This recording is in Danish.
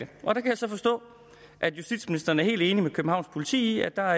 så forstå at justitsministeren er helt enig med københavns politi i at der